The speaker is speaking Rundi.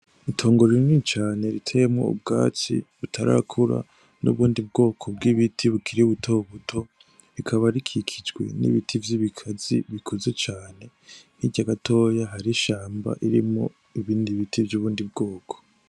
Itongo rinini cane riteyemwo ubwatsi butarakura n'ubundi bwoko bw'ibiti bukiri buto buto rikaba rikikijwe n'ibiti vy'ibikazi bikuze cane hirya gatoya hari ishamba rimwo ibindi biti vy'ubundi bwoko.